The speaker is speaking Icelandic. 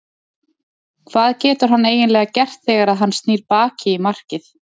Hvað getur hann eiginlega gert þegar að hann snýr baki í markið?